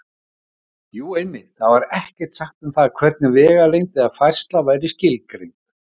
Jú, einmitt: Þar var ekkert sagt um það hvernig vegalengd eða færsla væri skilgreind!